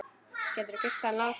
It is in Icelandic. Gætirðu kysst hann Lása?